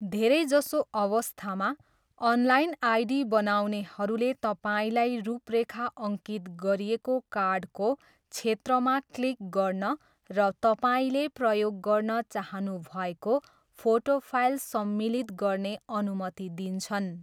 धेरै जसो अवस्थामा, अनलाइन आइडी बनाउनेहरूले तपाईँलाई रूपरेखा अङ्कित गरिएको कार्डको क्षेत्रमा क्लिक गर्न र तपाईँले प्रयोग गर्न चाहनुभएको फोटो फाइल सम्मिलित गर्ने अनुमति दिन्छन्।